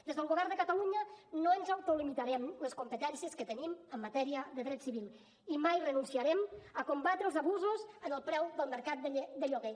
des del govern de catalunya no ens autolimitarem les competències que tenim en matèria de dret civil i mai renunciarem a combatre els abusos en el preu del mercat de lloguer